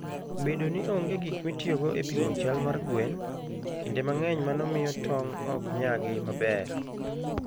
Bedo ni onge gik mitiyogo e pimo chal mar gwen, kinde mang'eny mano miyo tong' ok nyagi maber.